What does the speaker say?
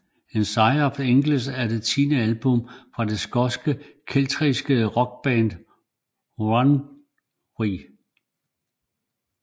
In Search of Angels er det tiende album fra den skotske keltiske rockband Runrig